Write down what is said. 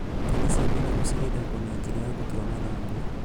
Nyeni cia matharũ cigethagwo na njĩra ya gũtua mathangũ